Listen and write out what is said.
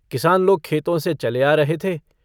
किसान लोग खेतों से चले आ रहे थे।